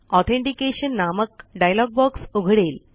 authentication नामक dialog box उघडेल